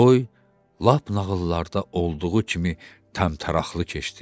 Toy lap nağıllarda olduğu kimi təmtəraqlı keçdi.